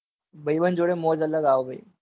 ભાઈબંધ જોડે મોજ સંગાથ આવશે.